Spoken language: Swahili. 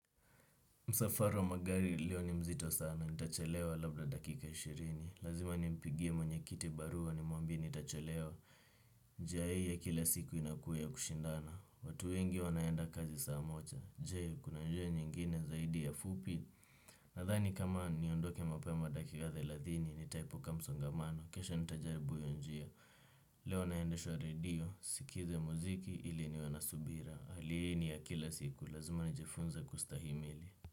Msafara wa magari leo ni mzito sana, nitachelewa labda dakika ishirini, lazima nimpigie mwenye kiti barua nimwambie nitachelewa, njia hii ya kila siku inakuwa ya kushindana watu wengi wanaenda kazi saa moja, je kuna njia nyingine zaidi ya fupi nadhani kama niondoke mapema dakika thelathini nitaepuka msongamano kesho nitajaribu hiyo njia leo naendeshwa radio, sikize muziki ili niwe na subira, hali hii ni ya kila siku, lazima nijifunze kustahimili.